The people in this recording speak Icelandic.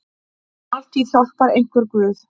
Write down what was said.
Altíð hjálpar einhver guð.